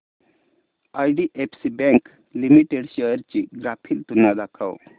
IDFC bank limited shares ची graphical तुलना दाखव